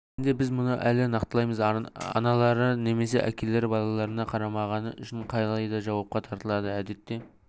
кезінде біз мұны әлі нақтылаймыз аналары немесе әкелері балаларына қарамағаны үшін қалайда жауапқа тартылады әдетте